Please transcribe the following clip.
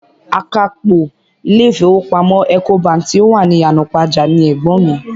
Akápò ilé ìfowópamọ́ Ecobank tí ó wà ní Ìyànàpájà ni ẹ̀gbọ́n mi.